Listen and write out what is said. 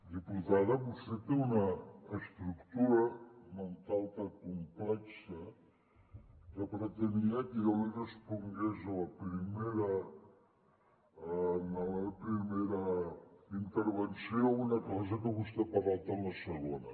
diputada vostè té una estructura mental tan complexa que pretenia que jo li respongués a la primera intervenció una cosa que vostè n’ha parlat a la segona